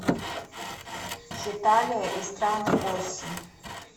хеталия и страны оси